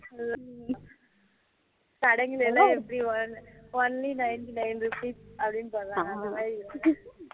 ஹம் கடைங்களிலாம் எப்படி only ninety nine rupees அப்படினூ போடுறான் அந்த மாதிரி இருக்குது